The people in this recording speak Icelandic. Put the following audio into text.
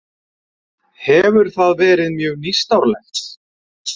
Hefur það verið mjög nýstárlegt?